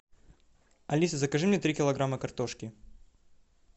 алиса закажи мне три килограмма картошки